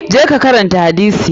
Je ka karanta hadisi!